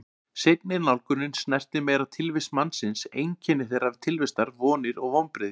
Seinni nálgunin snertir meira tilvist mannsins, einkenni þeirrar tilvistar, vonir og vonbrigði.